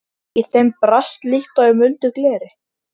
Í þeim brast líkt og í muldu gleri.